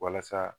Walasa